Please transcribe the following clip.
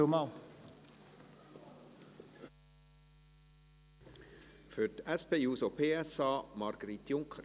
Für die SP-JUSO-PSA-Fraktion: Margrit Junker.